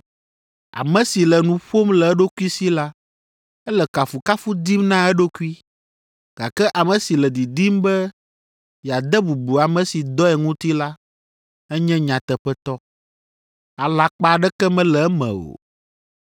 Ame si le nu ƒom le eɖokui si la, ele kafukafu dim na eɖokui, gake ame si le didim be yeade bubu ame si dɔe ŋuti la, enye nyateƒetɔ, alakpa aɖeke mele eme o.